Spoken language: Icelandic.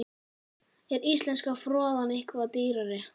Er íslenska froðan eitthvað dýrari?